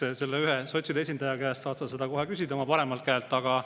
Eks selle ühe sotside esindaja käest oma paremal käel saad sa seda kohe küsida.